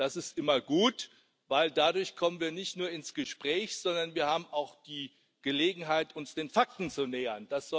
Das ist immer gut, denn dadurch kommen wir nicht nur ins Gespräch, sondern wir haben auch die Gelegenheit, uns den Fakten zu nähern.